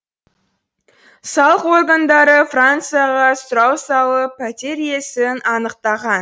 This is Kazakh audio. салық органдары францияға сұрау салып пәтер иесін анықтаған